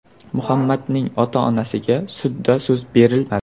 Muhammadning ota-onasiga sudda so‘z berilmadi.